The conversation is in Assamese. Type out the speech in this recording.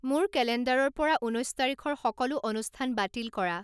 মোৰ কেলেণ্ডাৰৰ পৰা ঊনৈশ তাৰিখৰ সকলো অনুষ্ঠান বাতিল কৰা